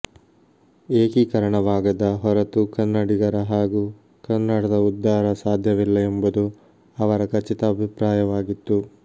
ಏಕೀಕರಣವಾಗದ ಹೊರತು ಕನ್ನಡಿಗರ ಹಾಗೂ ಕನ್ನಡದ ಉದ್ಧಾರ ಸಾಧ್ಯವಿಲ್ಲ ಎಂಬುದು ಅವರ ಖಚಿತ ಅಭಿಪ್ರಾಯವಾಗಿತ್ತು